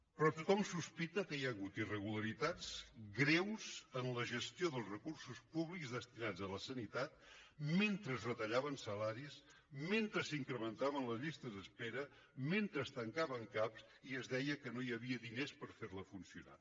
però tothom sospita que hi ha hagut irregularitats greus en la gestió dels recursos públics destinats a la sanitat mentre es retallaven salaris mentre s’incrementaven les llistes d’espera mentre es tancaven cap i es deia que no hi havia diners per fer la funcionar